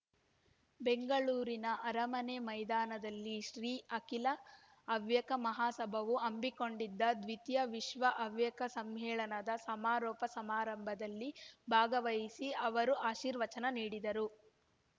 ಬೆಂಗಳೂರಿನ ಅರಮನೆ ಮೈದಾನದಲ್ಲಿ ಶ್ರೀ ಅಖಿಲ ಹವ್ಯಕ ಮಹಾಸಭಾವು ಹಮ್ಮಿಕೊಂಡಿದ್ದ ದ್ವಿತೀಯ ವಿಶ್ವ ಹವ್ಯಕ ಸಮ್ಮೇಳನದ ಸಮಾರೋಪ ಸಮಾರಂಭದಲ್ಲಿ ಭಾಗವಹಿಸಿ ಅವರು ಆಶೀರ್ವಚನ ನೀಡಿದರು